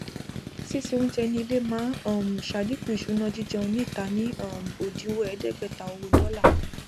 sísè oúnjẹ ní ilé máa um ṣàdínkù ìṣúná jíjẹun ní ìta ní um òdiwọn ẹẹdẹgbẹta owó dọlà